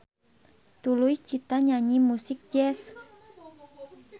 Tuluy Cita nyanyi musik jazz.